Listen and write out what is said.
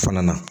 O fana na